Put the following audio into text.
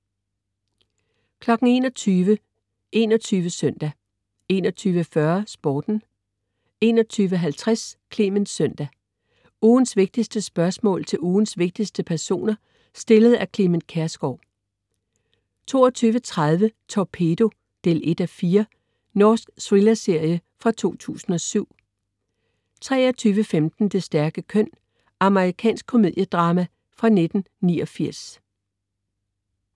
21.00 21 søndag 21.40 Sporten 21.50 Clement Søndag. Ugens vigtigste spørgsmål til ugens vigtigste personer, stillet af Clement Kjersgaard 22.30 Torpedo 1:4. Norsk thrillerserie fra 2007 23.15 Det stærke køn. Amerikansk komediedrama fra 1989